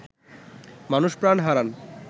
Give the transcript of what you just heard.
মানুষ প্রাণ হারান